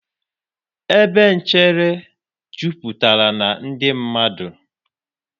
ebe nchere jupụtara na ndị mmadụ.